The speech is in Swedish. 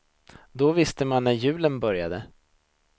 Då visste man när julen började.